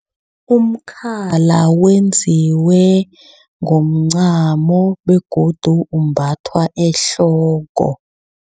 Umkhala wenziwe ngomncamo begodu umbathwa ehloko.